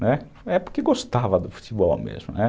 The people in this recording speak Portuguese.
Né, era porque gostava do futebol mesmo, né.